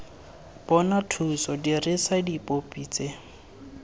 bona thuso dirisa dipopi tse